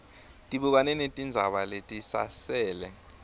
tibukane netindzaba letisasele